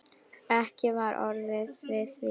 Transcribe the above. Ekki var orðið við því.